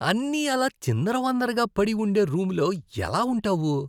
అన్నీ అలా చిందరవందరగా పడి ఉండే రూములో ఎలా ఉంటావు?